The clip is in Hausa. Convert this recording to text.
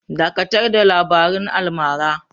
Dakatar da labarun almara!